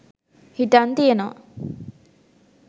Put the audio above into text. හිටං තියෙනවා